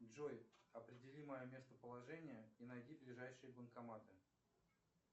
джой определи мое местоположение и найди ближайшие банкоматы